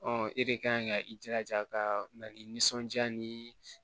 e de kan ka i jilaja ka na ni nisɔndiya ni